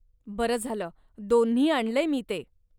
बरं झालं दोन्ही आणलंय मी ते.